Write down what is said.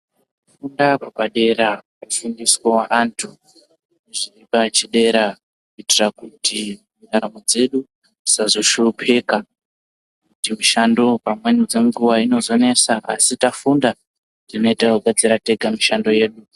Kufunda kwepadera kufundiswa vantu zviri pachidera kuitira kuti ntaramo dzedu dzisazoshupika, dzemushando pamweni dzinombonetsa asi tafunda tinenge takuzvipedzera tega mumishando yedu.